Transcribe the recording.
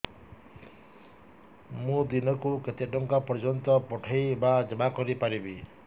ମୁ ଦିନକୁ କେତେ ଟଙ୍କା ପର୍ଯ୍ୟନ୍ତ ପଠେଇ ବା ଜମା କରି ପାରିବି